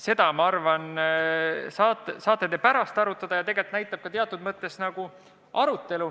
Seda, ma arvan, te saate pärast arutada.